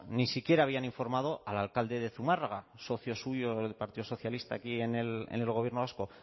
ni siquiera habían informado al alcalde de zumárraga socio suyo del partido socialista aquí en el gobierno vasco